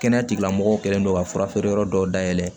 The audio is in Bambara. Kɛnɛya tigilamɔgɔw kɛlen don ka fura feere yɔrɔ dɔw dayɛlɛ